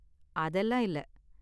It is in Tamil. அதெல்லாம் இல்ல